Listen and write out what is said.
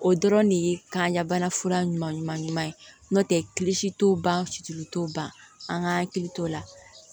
O dɔrɔn de ye kanɲa bana fura ɲuman ɲuman ɲuman ɲuman ye n'o tɛ t'o ban fitiri t'o ban an ka hakili t'o la